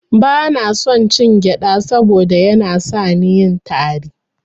Bana son cin gyada saboda Yana sani yin tari.